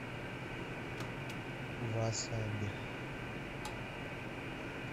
васаби